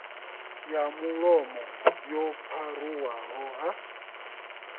ya mulomo yo pharuwaho ha